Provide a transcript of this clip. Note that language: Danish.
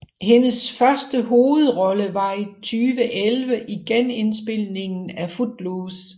Hendes første hovedrolle var i 2011 i genindspilningen af Footloose